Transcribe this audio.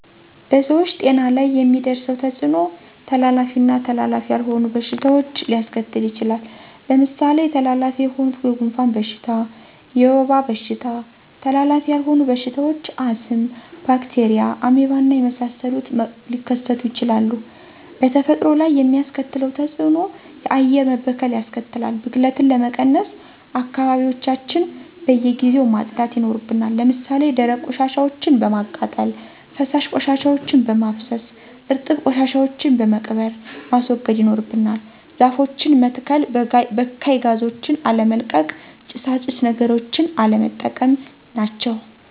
በሰዎች ጤና ላይ የሚያደርሰዉ ተጽኖ:-ተላላፊ ና ተላላፊ ያልሆኑ በሽታዎች ሊያሰከትል ይችላል። ለምሳሌ ተላላፊ የሆኑት:-የጉንፍን በሽታ፣ የወባ በሽታ ተላላፊ ያልሆኑ በሽታዎች :-አስም፣ ባክቴርያ፣ አሜባና የመሳሰሉት መከሰቱ ይችላሉ። በተፈጥሮ ላይ የሚያስከትለው ተጽእኖ :-የአየር መበከል ያስከትላል። ብክለትን ለመቀነስ :-አካባቢዎችያችን በየጊዜው ማጽዳት ይናርብናል። ለምሳሌ ደረቅ ቆሻሻወችን በማቃጠል፣ ፈሳሽ ቆሻሻወችን በማፋሰስ፣ እርጥብ ቆሻሻወችን በመቅበር ማስወገድ ይኖርብናል። ዛፎችን መተሰከል፣ በካይ ጋዞችን አለመልቀቅ፣ ጭሳጭስ ነገሮችን ቀለነጠቀም ናቸው።